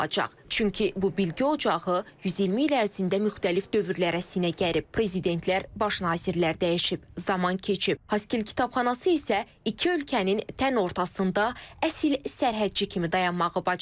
Çünki bu bilgi ocağı 120 il ərzində müxtəlif dövrlərə sinə gərib, prezidentlər, baş nazirlər dəyişib, zaman keçib, Haskil kitabxanası isə iki ölkənin tən ortasında əsil sərhədçi kimi dayanmağı bacarıb.